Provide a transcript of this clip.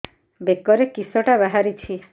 ବେକରେ କିଶଟା ବାହାରିଛି